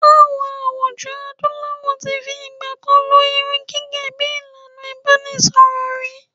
IÀwọn àwùjọ Adúláwọ̀ ti fi ìgbà kan lo irun gẹhgẹ́ bí ìlànà ìbánisọ̀rọ̀ rí.